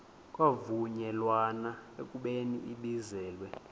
kwavunyelwana ekubeni ibizelwe